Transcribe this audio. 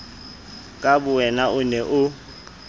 ka bowena o be o